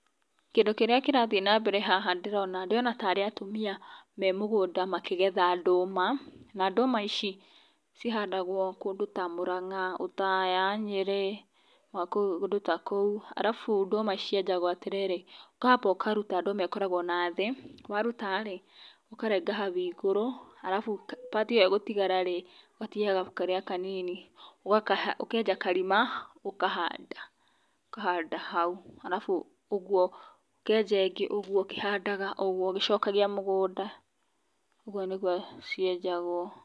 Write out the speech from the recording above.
Kĩndũ kĩrĩa kĩrathiĩ na mbere haha ndĩrona, ndĩrona tarĩ atumia me mũgũnda makĩgetha ndũma, na ndũma ici cihandagwo kũndũ ta Mũranga, Othaya, Nyĩrĩ na kũndũ ta kũu arabu ndũma cienjagwo atĩrĩrĩ ũkamba ũkaruta ndũma ĩyo ĩkoragwo nathiĩ waruta rĩ, ũkarenga hau igũrũ arabu part ĩyo ĩgũtigara rĩ, ũgatigĩrĩra kĩrĩa kanini ũkenja karima ũkahanda, ũkahanda hau arabu ũguo ũkenja ĩngĩ ũguo ũkĩhandaga ũguo ũgĩcokagia mũgũnda, ũguo nĩguo cienjagwo.